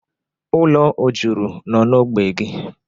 Ụlọ o juru n'ógbè gị?